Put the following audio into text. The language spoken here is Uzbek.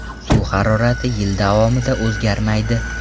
Suv harorati yil davomida o‘zgarmaydi.